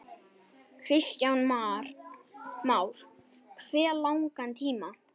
Kristján Már: Hve langan tíma?